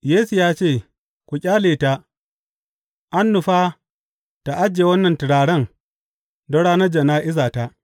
Yesu ya ce, Ku ƙyale ta, an nufa ta ajiye wannan turaren don ranar jana’izata.